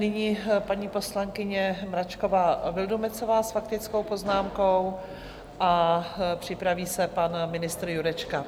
Nyní paní poslankyně Mračková Vildumetzová s faktickou poznámkou a připraví se pan ministr Jurečka.